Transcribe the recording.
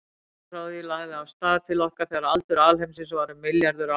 Ljósið frá því lagði af stað til okkar þegar aldur alheimsins var um milljarður ára.